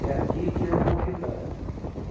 É aqui que eu vou ficar.